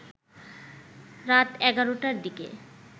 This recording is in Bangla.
রাত ১১ টার দিকে